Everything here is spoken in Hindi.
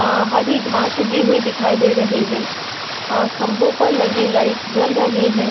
अ हरी घाँस उगी हुई दिखाई दे रही है। अ खम्भों पर लगे लाइट जल रहे हैं।